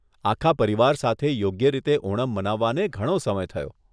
આખા પરિવાર સાથે યોગ્ય રીતે ઓનમ મનાવવાને ઘણો સમય થયો.